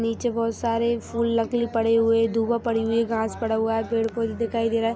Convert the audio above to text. नीचे बहुत सारे फुल नकली पड़े हुए दूबा पड़ी हुई है घास पड़ा हुआ है पेड़ पोधा दिखाई दे रहा।